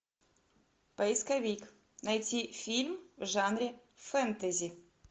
поисковик найти фильм в жанре фэнтези